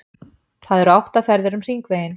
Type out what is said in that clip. Það eru átta ferðir um Hringveginn.